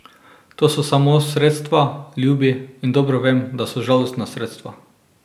To so samo sredstva, ljubi, in dobro vem, da so žalostna sredstva.